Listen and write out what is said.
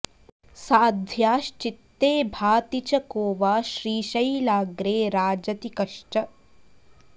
साध्व्याश्चित्ते भाति च को वा श्रीशैलाग्रे राजति कश्च